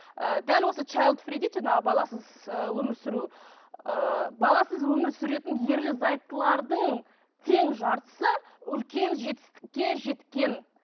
ы дәл осы дейді жаңағы баласыз ыыы өмір сүру ыыы баласыз өмір сүретін ерлі зайыптылардың тең жартысы үлкен жетістікке жеткен